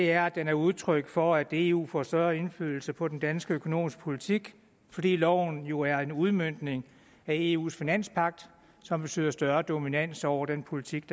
er at den er udtryk for at eu får større indflydelse på den danske økonomiske politik fordi loven jo er en udmøntning af eus finanspagt som betyder større dominans over den politik